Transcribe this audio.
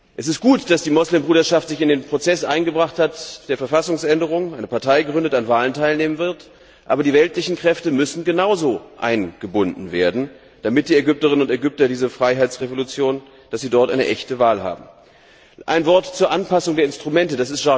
Es ist gut, dass die Moslembruderschaft sich in den Prozess der Verfassungsänderung eingebracht hat, eine Partei gründet, an Wahlen teilnehmen wird, aber die weltlichen Kräfte müssen genauso eingebunden werden, damit die Ägypterinnen und Ägypter in dieser Freiheitsrevolution eine echte Wahl haben. Ein Wort zur Anpassung der Instrumente.